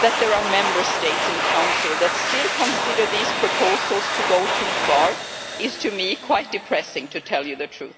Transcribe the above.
that there are Member States in the Council that still consider that these proposals go too far is to me quite depressing, to tell the truth.